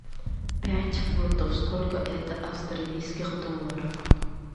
пять фунтов сколько это австралийских долларов